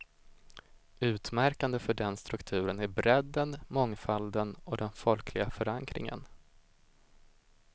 Utmärkande för den strukturen är bredden, mångfalden och den folkliga förankringen.